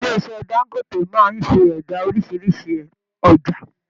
Ilé iṣẹ Dangote máa n ṣẹda orísirísi ọjà.